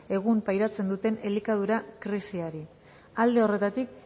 egun pairatzen duten elikadura krisiari alde horretatik